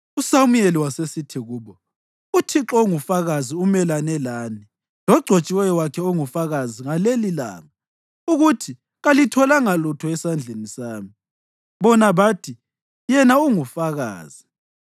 USamuyeli wasesithi kubo, “ Uthixo ungufakazi umelane lani, logcotshiweyo wakhe ungufakazi ngalelilanga, ukuthi kalitholanga lutho esandleni sami.” Bona bathi, “Yena ungufakazi.”